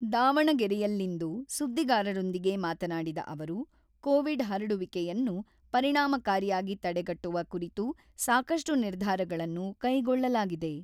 ದಾವಣಗೆರೆಯಲ್ಲಿಂದು ಸುದ್ದಿಗಾರರೊಂದಿಗೆ ಮಾತನಾಡಿದ ಅವರು, ಕೋವಿಡ್ ಹರಡುವಿಕೆಯನ್ನು ಪರಿಣಾಮಕಾರಿಯಾಗಿ ತಡೆಗಟ್ಟುವ ಕುರಿತು ಸಾಕಷ್ಟು ನಿರ್ಧಾರಗಳನ್ನು ಕೈಗೊಳ್ಳಲಾಗಿದೆ.